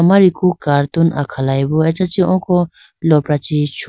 amariku cartoon akhalayi bo achachi oko lopra chee chulayibo.